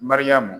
Mariyamu